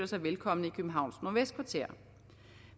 sig velkomne i københavns nordvestkvarter